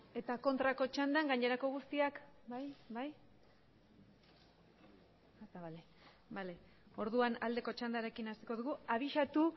eta kontrako txandan gainerako guztiak bai orduan aldeko txandarekin hasiko dugu abisatu